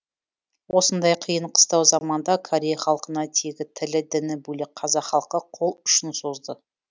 осындай қиын қыстау заманда корей халқына тегі тілі діні бөлек қазақ халқы қолұшын созды